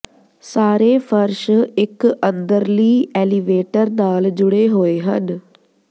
ਸਾਰੇ ਫਰਸ਼ ਇੱਕ ਅੰਦਰਲੀ ਐਲੀਵੇਟਰ ਨਾਲ ਜੁੜੇ ਹੋਏ ਹਨ